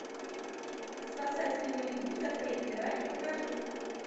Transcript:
спасатели малибу запретный рай покажи